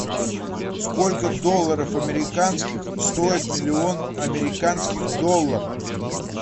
сколько долларов американских стоит миллион американских доллар